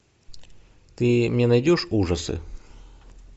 ты мне найдешь ужасы